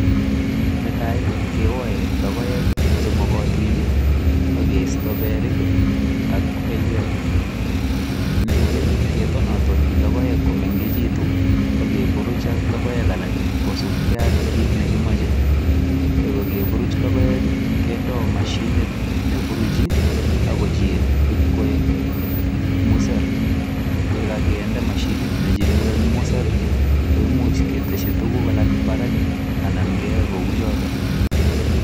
Netai ii kewae logoek che magatiin ii ak keista beriik ak beiweek nerupee ketotonatoni logoek ko mengekituun ak keburuj ak logoek alaak ii kosupkei ak kiit ne komachei ye kageburuuj logoek ii kendoo mashinit neburujii ako chili in koek museer ye kaginde mashinit nechile koek museer ii koimuuch ketesyii tuguuk alaak Barak ii anan keye kou chotoon.